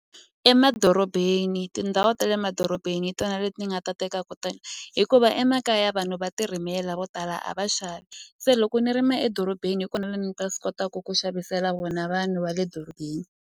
Emadorobeni tindhawu ta le madorobeni hi tona leti ni nga ta teka kutani hikuva emakaya vanhu va ti rimela vo tala a va xavi se loko ni rima edorobeni hi kona ni nga swi kotaku ku xavisela vona vanhu va le dorobeni.